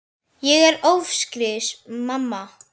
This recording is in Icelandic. Ég er ófrísk, mamma!